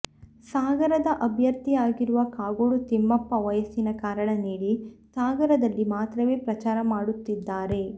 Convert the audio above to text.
ಸಾಗರದ ಅಭ್ಯರ್ಥಿಯಾಗಿರುವ ಕಾಗೋಡು ತಿಮ್ಮಪ್ಪ ವಯಸ್ಸಿನ ಕಾರಣ ನೀಡಿ ಸಾಗರದಲ್ಲಿ ಮಾತ್ರವೇ ಪ್ರಚಾರ ಮಾಡುತ್ತಿದ್ದಾರೆ